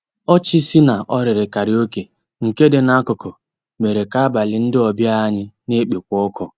Ọchị sì n'òrìrì kàráòké nkè dị n'akụkụ mèrè kà àbàlí ndị ọbìà anyị nà-ekpékwa ọkụ.